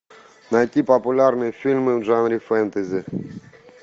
найти популярные фильмы в жанре фэнтези